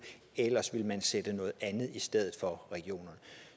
ellers ville man sætte noget andet i stedet for regionerne